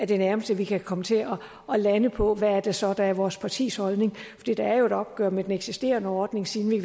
det nærmeste vi kan komme til at lande på hvad det så er der er vores partis holdning det er jo et opgør med den eksisterende ordning siden vi